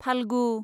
Falgu